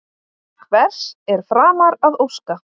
Hvers er framar að óska?